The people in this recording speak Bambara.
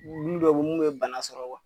Wulinen dɔw munnu ye bana sɔrɔ